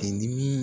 dimi